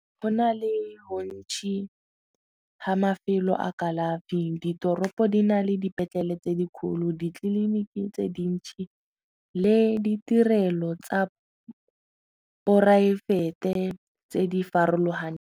Go na le bontšhi ga mafelo a kalafi ditoropo di na le dipetlele tse di kgolo ditleliniki tse dintšhi le ditirelo tsa poraefete tse di farologaneng.